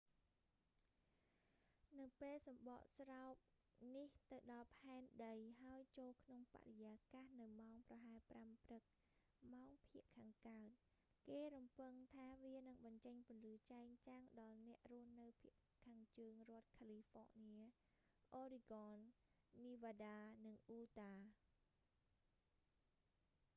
នៅពេលសំបកស្រោបនេះទៅដល់ផែនដី ហើយចូលក្នុងបរិយាកាសនៅម៉ោងប្រហែល 5 ព្រឹក ម៉ោងភាគខាងកើត គេរំពឹងថាវានឹងបញ្ចេញពន្លឺចែងចាំងដល់អ្នករស់នៅភាគខាងជើងរដ្ឋ california oregon nevada និង utah